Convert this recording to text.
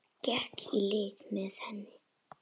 Gekk í lið með henni.